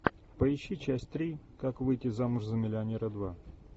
поищи часть три как выйти замуж за миллионера два